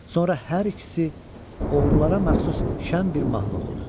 Sonra hər ikisi oğrulara məxsus şən bir mahnı oxudu.